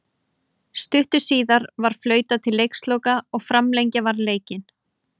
Stuttu síðar var flautað til leiksloka og framlengja varð leikinn.